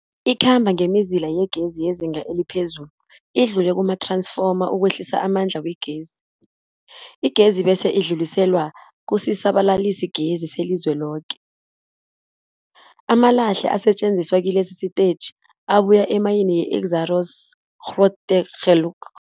Ikhamba ngemizila yegezi yezinga eliphezulu idlule kumath-ransfoma ukwehlisa amandla wegezi. Igezi bese idluliselwa kusisa-balalisigezi selizweloke. Amalahle asetjenziswa kilesi sitetjhi abuya emayini yeExxaro's Grootegeluk.